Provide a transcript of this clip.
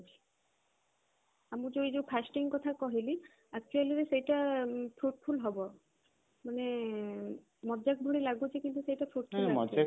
ଆମର ଯୋଉ ଏଇ ଯୋଉ fasting କଥା କହିଲି actual ରେ ସେଇଟା fruitful ହବ ମାନେ ମଜାକ ଭଳି ଲାଗୁଛି କିନ୍ତୁ